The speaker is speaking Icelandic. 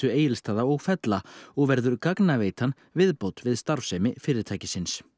Egilsstaða og fella og verður viðbót við starfsemi fyrirtækisins